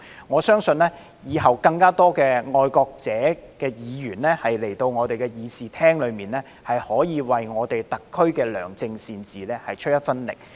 我相信往後會有更多愛國者的議員來到立法會議事廳，為特區的良政善治出一分力。